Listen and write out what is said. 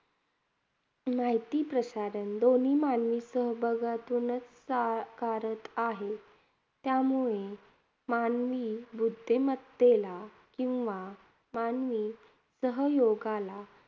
माहिती प्रसारण दोन्ही मानवी सहभागातूनच साकारत आहे. त्यामुळे मानवी बुद्धिमत्तेला किंवा मानवी सहयोगाला